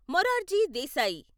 Morarji Desai